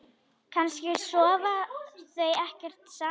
Kannski sofa þau ekkert saman?